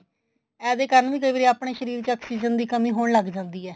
ਇਹੋ ਜਿਹੇ ਕਰਨ ਵੀ ਕਈ ਵਾਰੀ ਆਪਣੇ ਸ਼ਰੀਰ ਚ oxygen ਦੀ ਕਮੀ ਹੋਣ ਲੱਗ ਜਾਂਦੀ ਐ